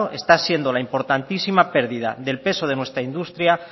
está siendo la importantísima pérdida del peso de nuestra industria